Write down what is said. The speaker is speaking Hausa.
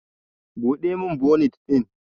Ka Bude min bonit din!